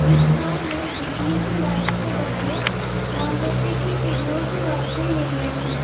इस स्थान में बिजली की लाइट्स के बदले मोमबत्ती की किरनों से रोशनी मिल रही है।